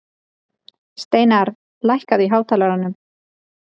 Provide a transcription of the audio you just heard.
Steinarr, lækkaðu í hátalaranum.